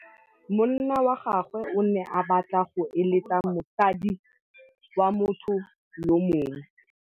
Monna wa gagwe o ne a batla go êlêtsa le mosadi wa motho yo mongwe.